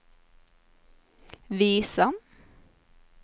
visa